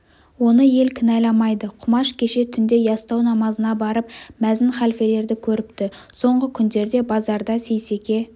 оны ел кінәламайды құмаш кеше түнде ястау намазына барып мәзін халфелерді көріпті соңғы күндерде базарда сейсеке